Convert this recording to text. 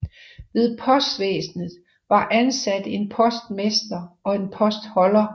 Ved postvæsenet var ansat en postmester og en postholder